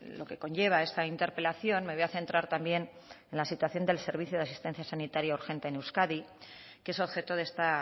lo que conlleva esta interpelación me voy a centrar también en la situación del servicio de asistencia sanitaria urgente en euskadi que es objeto de esta